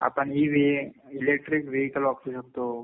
आपण इ वेही, electric vehicle वापरू शकतो.